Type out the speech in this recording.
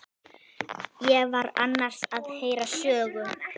Ég var annars að heyra sögu.